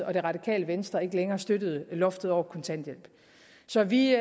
og det radikale venstre ikke længere støttede loftet over kontanthjælp så vi